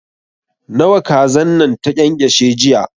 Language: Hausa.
Nawa kazan nan ta ƙyanƙyashe jiya?